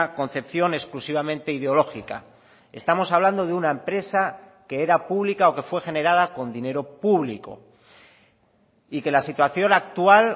concepción exclusivamente ideológica estamos hablando de una empresa que era pública o que fue generada con dinero público y que la situación actual